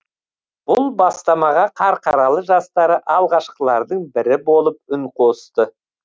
бұл бастамаға қарқаралы жастары алғашқылардың бірі болып үн қосты